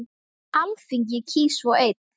Alþingi kýs svo einn.